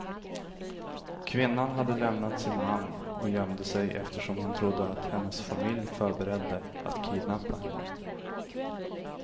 Kvinnan hade lämnat sin man och gömde sig eftersom hon trodde att hennes familj förberedde att kidnappa henne.